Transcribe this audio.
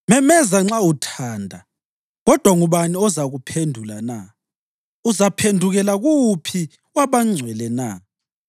“Memeza nxa uthanda, kodwa ngubani ozakuphendula na? Uzaphendukela kuwuphi wabangcwele na?